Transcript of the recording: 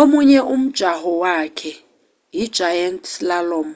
omunye umjaho wakhe i-giant slalom